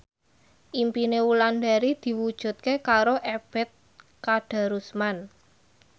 impine Wulandari diwujudke karo Ebet Kadarusman